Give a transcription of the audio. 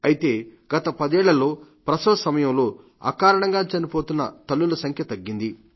అయితే గత పదేళ్లలో ప్రసవ సమయంలో అకారణంగా చనిపోతున్న తల్లుల సంఖ్య తగ్గింది